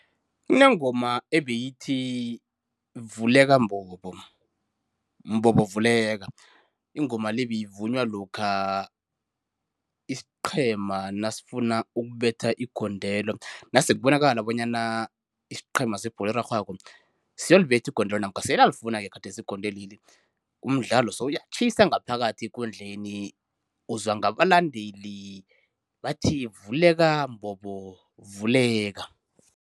Kunengoma ebeyithi, vuleka mbobo mbobo vuleka. Ingoma le beyivunywa lokha isiqhema nasifuna ukubetha igondelo, nasekubonakala bonyana isiqhema sebholo erarhwako siyolibetha igondelo namkha seliyalifuna-ke gadesi igondelweli, umdlalo sewuyatjhisa ngaphakathi ekundleni, uzwa ngabalandeli bathi vuleka mbobo vuleka.